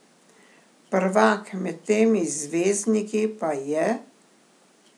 Prvak med temi zvezdniki pa je...